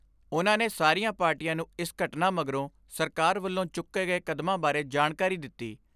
ਉਨ੍ਹਾਂ ਨੇ ਸਾਰੀਆਂ ਪਾਰਟੀਆਂ ਨੂੰ ਇਸ ਘਟਨਾ ਮਗਰੋਂ ਸਰਕਾਰ ਵੱਲੋਂ ਚੁੱਕੇ ਗਏ ਕਦਮਾਂ ਬਾਰੇ ਜਾਣਕਾਰੀ ਦਿੱਤੀ।